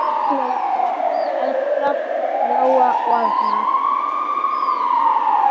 Erla, Lóa og Arnar.